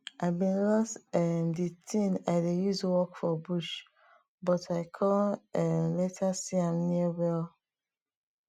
i been loss um di tin i dey use work for bush but i con um later see am near well